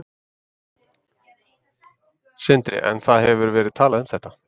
Sindri: En það hefur verið talað um þetta?